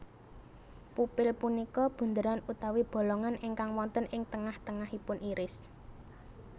Pupil punika bunderan utawi bolongan ingkang wonten ing tengah tengahipun iris